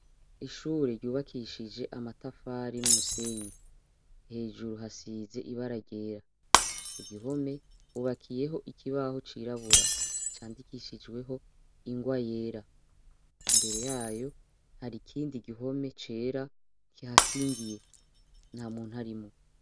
Ishure ryubakishije amatafari n' umusenyi, hejuru hasize ibara ryera, ku gihome hubakiyeho ikibaho cirabura candishijweho ingwa yera, imbere yayo hari ikindi gihome cera kihakingiye nta muntu arimwo.